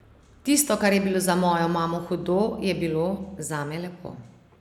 Tisto, kar je bilo za mojo mamo hudo, je bilo zame lepo.